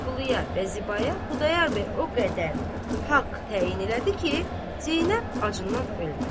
Vəliquluya və Zibaya Xudayar bəy o qədər haqq təyin elədi ki, Zeynəb acından ölməsin.